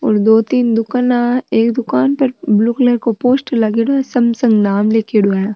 और दो तीन दुकानाँ एक दुकान पर ब्ल्यू कलर को पोस्टर लागेड़ो है सैमसंग नाम लिखेड़ो है।